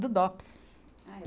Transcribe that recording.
Do Dopes.